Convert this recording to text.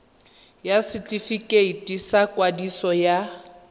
ya setefikeiti sa ikwadiso ya